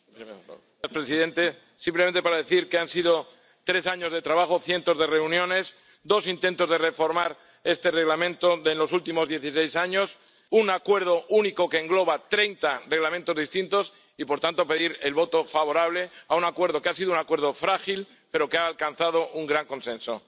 Señor presidente, simplemente para decir que han sido tres años de trabajo, cientos de reuniones, dos intentos de reformar este Reglamento en los últimos dieciséis años, un acuerdo único que engloba treinta reglamentos distintos, y, por tanto, pedir el voto favorable a un acuerdo que ha sido un acuerdo frágil pero que ha alcanzado un gran consenso.